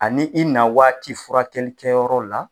Ani i na waati furakɛlikɛyɔrɔ la